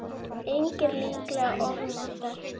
Eignir líklega ofmetnar